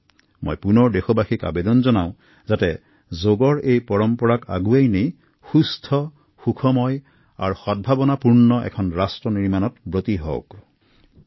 পুনৰ এবাৰ মই সকলো নাগৰিকক আহ্বান জনাওআপোনালোকে যোগাসনক নিজৰ কৰি লওক আৰু এখন সুস্থ সৱল সুখী আৰু সমৃদ্ধিশালী দেশ সৃষ্টিত বৰঙণি যোগাওক